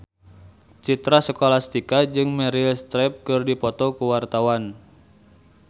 Citra Scholastika jeung Meryl Streep keur dipoto ku wartawan